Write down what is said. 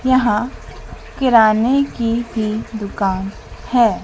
यहां किराने की भी दुकान है।